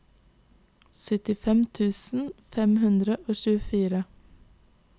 syttifem tusen fem hundre og tjuefire